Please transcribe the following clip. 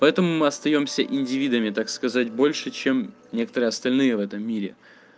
поэтому мы остаёмся индивидами так сказать больше чем некоторые остальные в этом мире